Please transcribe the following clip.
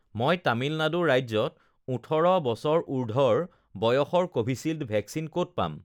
মই তামিলনাডু ৰাজ্যত ওঠৰ বছৰ উৰ্ধ্বৰ বয়সৰ ক'ভিচিল্ড ভেকচিন ক'ত পাম